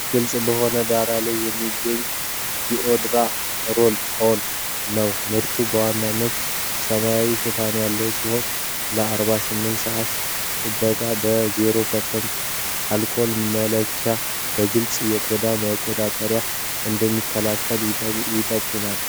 ግልጽ በሆነ ዳራ ላይ የሚገኝ ዲኦድራንት ሮል-ኦን ነው። ምርቱ በዋናነት ሰማያዊ ሽፋን ያለው ሲሆን ለ48 ሰዓታት ጥበቃ እና 0% አልኮል መያዙን በመግለጽ የቆዳ መቆጣትን እንደሚከላከል አይጠቁም?